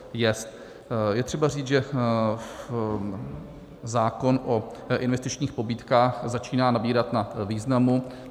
Je třeba říct, že zákon o investičních pobídkách začíná nabírat na významu.